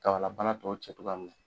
Kabalabana tɔw cɛ cogoya min na.